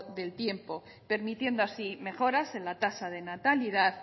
del tiempo permitiendo así mejoras en la tasa de natalidad